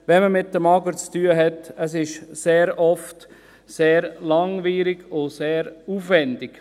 Wenn man mit dem AGR zu tun hat, ist es sehr oft sehr langwierig und sehr aufwendig.